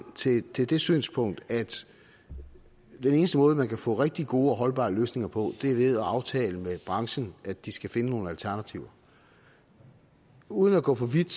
til det det synspunkt at den eneste måde man kan få rigtig gode og holdbare løsninger på er ved at aftale med branchen at de skal finde nogle alternativer uden at gå for vidt